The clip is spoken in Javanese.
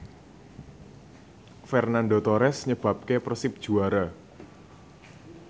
Fernando Torres nyebabke Persib juara